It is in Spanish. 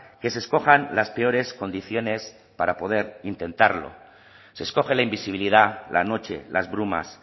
que se escojan las peores condiciones para poder intentarlo se escoge la invisibilidad la noche las brumas